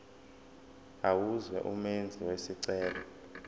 amazwe umenzi wesicelo